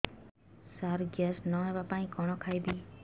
ସାର gas ନ ହେବା ପାଇଁ କଣ ଖାଇବା ଖାଇବି